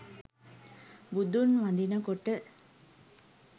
බුදුන් වඳිනකොට